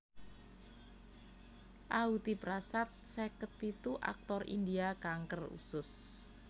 Ahuti Prasad seket pitu aktor India kanker usus